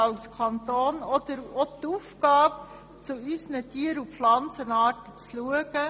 Als Kanton haben wir auch die Aufgabe, zu unseren Tieren und Pflanzenarten zu schauen.